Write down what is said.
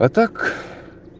а так